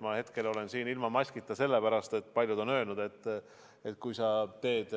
Ma hetkel olen siin ilma maskita sellepärast, et kui sa teed